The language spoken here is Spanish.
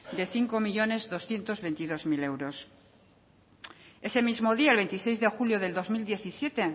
de cinco millónes doscientos veintidós mil euros ese mismo día el veintiséis de julio del dos mil diecisiete